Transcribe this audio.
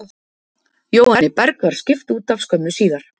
Jóhanni Berg var skipt útaf skömmu síðar.